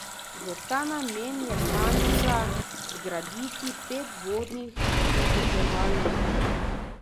V ta namen je kanila zgraditi pet vodnih zadrževalnike.